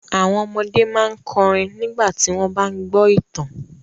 Àwọn ọmọdé máa ń kọrin nígbà tí wọ́n bá ń gbọ́ ìtàn.